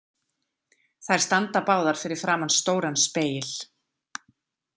Þær standa báðar fyrir framan stóran spegil.